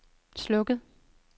slukket